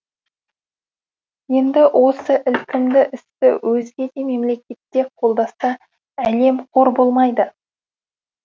енді осы ілкімді істі өзге де мемлекетте қолдаса әлем қор болмайды